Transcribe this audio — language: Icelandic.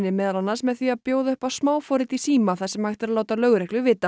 meðal annars með því að bjóða upp á smáforrit í síma þar sem hægt er að láta lögreglu vita